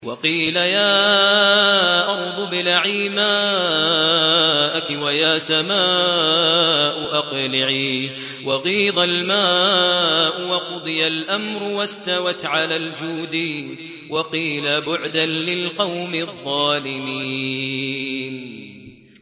وَقِيلَ يَا أَرْضُ ابْلَعِي مَاءَكِ وَيَا سَمَاءُ أَقْلِعِي وَغِيضَ الْمَاءُ وَقُضِيَ الْأَمْرُ وَاسْتَوَتْ عَلَى الْجُودِيِّ ۖ وَقِيلَ بُعْدًا لِّلْقَوْمِ الظَّالِمِينَ